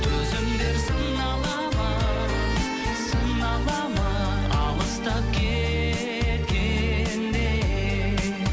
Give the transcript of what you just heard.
төзімдер сынала ма сынала ма алыстап кеткенде